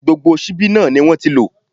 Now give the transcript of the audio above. Gbogbo ṣíbí náà ni wọ́n ti lò.